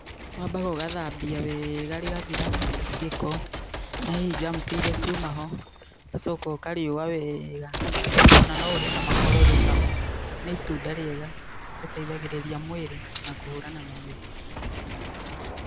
Wambaga ũgathambia wega rĩgathira gĩko na hihi cs[germs]cs iria ciuma ho ũgacoka ũkarĩũa wega, kana o na no ũrĩe na makoro rĩ cama. Nĩ itunda rĩega rĩteithagĩrĩria mwĩrĩ na kũhũrana na mĩrimũ.